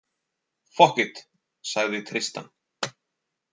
Fokkit, sagði Tristan.